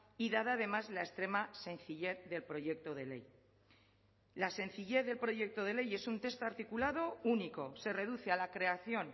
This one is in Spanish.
y dada además la extrema sencillez del proyecto de ley la sencillez del proyecto de ley es un texto articulado único se reduce a la creación